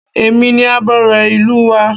Èmi ni abore ìlú wa